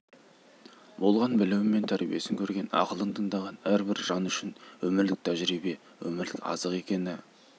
болған білімі мен тәрбиесін көрген ақылын тыңдаған әрбір жан үшін өмірлік тәжірибе өмірлік азық екені